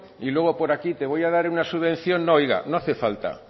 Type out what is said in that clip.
y luego por aquí te voy a dar una subvención no oiga no hace falta